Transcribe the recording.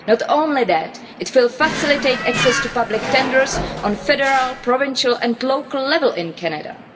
Not only that, it will facilitate access to public tenders at federal, provincial and local level in Canada.